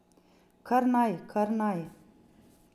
Kar naj, kar naj.